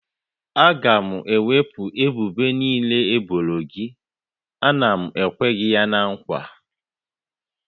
A ga-ewepụ ebubo niile e boro gị, a na m ekwe gị ya na nkwa